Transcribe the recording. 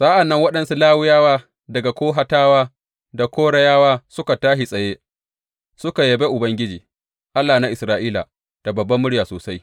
Sa’an nan waɗansu Lawiyawa daga Kohatawa da Korayawa suka tashi tsaye suka yabe Ubangiji, Allah na Isra’ila, da babbar murya sosai.